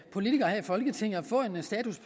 politikere her i folketinget at få en status